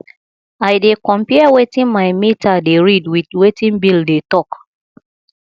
i dey compare wetin my meter dey read wit wetin bill dey tok